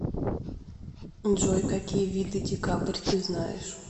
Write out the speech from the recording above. джой какие виды декабрь ты знаешь